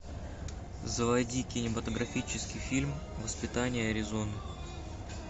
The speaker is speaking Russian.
заводи кинематографический фильм воспитание аризоны